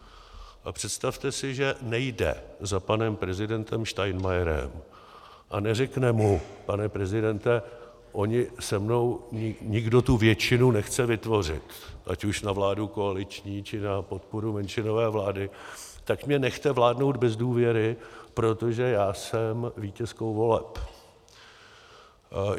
A představte si, že nejde za panem prezidentem Steinmeierem a neřekne mu pane prezidente, on se mnou nikdo tu většinu nechce vytvořit, ať už na vládu koaliční, či na podporu menšinové vlády, tak mě nechte vládnout bez důvěry, protože já jsem vítězkou voleb.